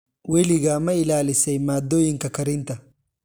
Weligaa ma ilaalisay maaddooyinka karinta?